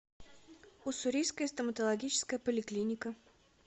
уссурийская стоматологическая поликлиника